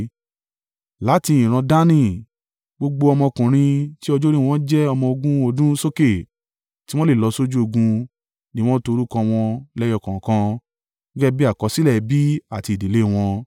Láti ìran Dani, gbogbo ọmọkùnrin tí ọjọ́ orí wọn jẹ́ ọmọ ogún ọdún sókè, tí wọ́n lè lọ sójú ogun ni wọ́n to orúkọ wọn lẹ́yọ kọ̀ọ̀kan gẹ́gẹ́ bí àkọsílẹ̀ ẹbí àti ìdílé wọn.